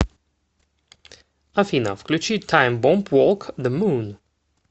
афина включи таймбомб волк зе мун